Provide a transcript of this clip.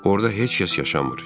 Orda heç kəs yaşamır.